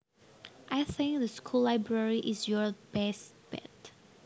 I think the school library is your best bet